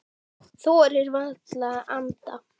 Þorði varla að anda.